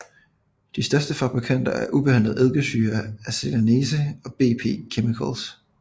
De største fabrikanter af ubehandlet eddikesyre er Celanese og BP Chemicals